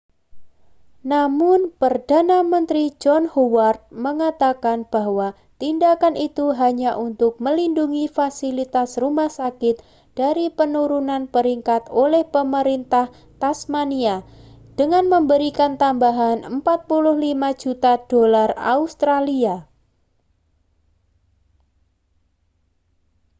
namun perdana menteri john howard mengatakan bahwa tindakan itu hanya untuk melindungi fasilitas rumah sakit dari penurunan peringkat oleh pemerintah tasmania dengan memberikan tambahan 45 juta dolar australia